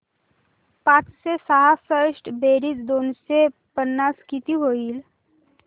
पाचशे सहासष्ट बेरीज दोनशे पन्नास किती होईल